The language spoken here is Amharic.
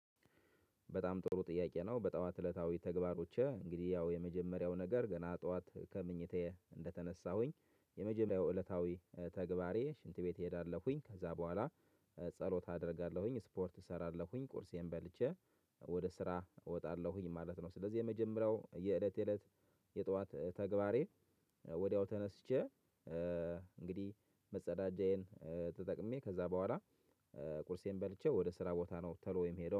በጣም ጥሩ ጥያቄ ነው። በጠዋት እለታዊ ተግባሮቼ እንግዲህ ያው የመጀመሪያው ነገር ገና ጠዋት ከምኝታዬ እንደተነሳሁኝ የመጀመሪያው እለታዊ ተግባሬ ሽንት ቤት እሄዳለሁኝ። ከዛ በኋላ ጸሎት አደርጋለሁኝ፤ ስፖርት እሰራለሁኝ፤ ቁርሴን በልቼ ወደ ስራ እወጣለሁኝ ማለት ነው። ስለዚህ የመጀመሪያው የእለት የእለት የጠዋት ተግባሬ ወድያው ተነስቼ እንግዲህ መጸዳጃዬን ተጠቅሜ ከዛ በኋላ ቁርሴን በልቼ ወደ ስራ ቦታ ነው ቶሎ የምሄደው